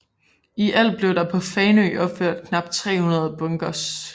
I alt blev der på Fanø opført knap 300 bunkers